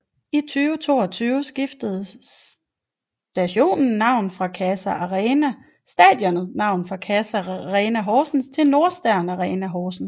I 2022 skiftede stadionet navn fra CASA Arena Horsens til Nordstern Arena Horsens